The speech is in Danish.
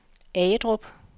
Agedrup